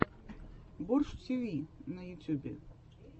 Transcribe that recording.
борщ тв на ютьюбе